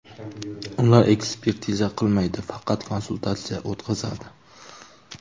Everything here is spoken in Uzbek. Ular ekspertiza qilmaydi, faqat konsultatsiya o‘tqazadi.